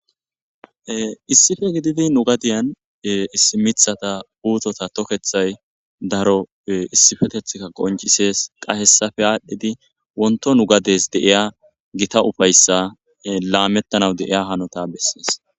issife gididi nu gadiyan issi mithata uutota tokethay daro issifetethka qoncisees qahessafe aadhdhidi wonto nu gades deiya gita ufayssa laamettanaw deiya hanota bessees